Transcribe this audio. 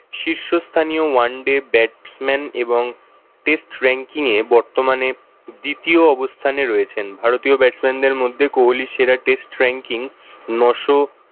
শীর্ষ স্থানীয় oneday batsman এবং test ranking এ বর্তমানে দ্বিতীয় অবস্থানে রয়েছেন। ভারতীয় batsman দের মধ্যে কোহলির সেরা test ranking ন'শ